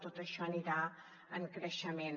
tot això anirà en creixement